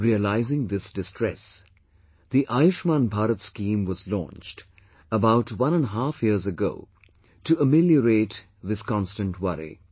Realizing this distress, the 'Ayushman Bharat' scheme was launched about one and a half years ago to ameliorate this constant worry